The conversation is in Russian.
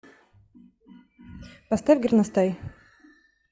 поставь горностай